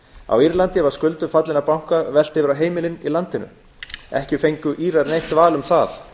á írlandi var skuldum fallinna banka velt yfir á heimilin í landinu ekki höfðu írar neitt val um það